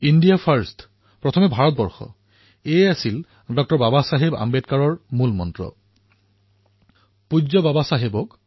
India first ডাঃ বাবা চাহেব আম্বেদকাৰৰ এয়াই মূলমন্ত্ৰ আছিল